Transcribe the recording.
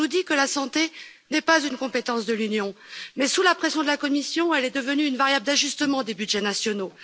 On nous dit que la santé n'est pas une compétence de l'Union mais, sous la pression de la Commission, elle est devenue une variable d'ajustement des budgets nationaux.